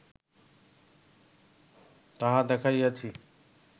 তাহা দেখাইয়াছি